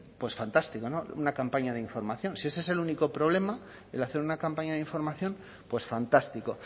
pues fantástico una campaña de información si ese es el único problema el hacer una campaña de información pues fantástico